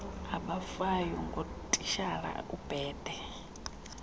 abafayo ngutitshala ubhede